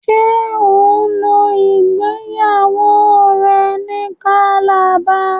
ṣe o ló ìgbéyàwó rẹ ní Calabar?